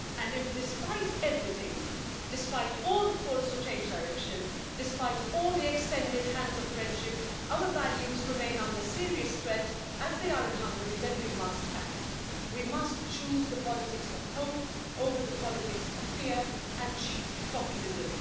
If, despite everything, despite all the calls to change direction, despite all the extended hands of friendship, our values remain under serious threat, as they are in Hungary, then we must act. We must choose the politics of hope over the politics of fear and cheap populism.